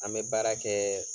An bɛ baara kɛ